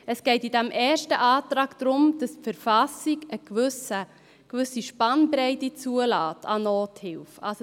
Es geht in diesem ersten Antrag darum, dass die BV eine gewisse Spannbreite an Nothilfe zulässt.